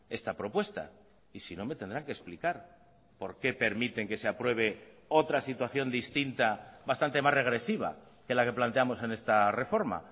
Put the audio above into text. esta propuesta y si no me tendrán que explicar por qué permiten que se apruebe otra situación distinta bastante más regresiva que la que planteamos en esta reforma